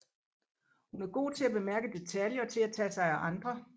Hun er god til at bemærke detaljer og til at tage sig af andre